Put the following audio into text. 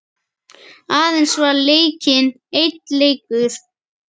Aðeins var leikinn einn leikur.